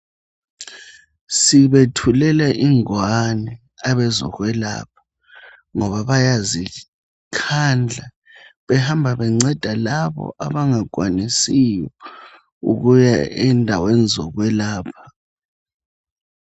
Sibethulela ingwane abezokwelapha ngoba bayazikhandla behamba benceda labo abangakwanisiyo ukuya endaweni ezokwelapha.